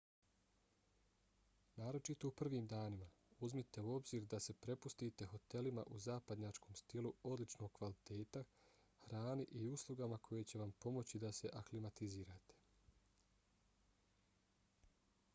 naročito u prvim danima uzmite u obzir da se prepustite hotelima u zapadnjačkom stilu odličnog kvaliteta hrani i uslugama koje će vam pomoći da se aklimatizirate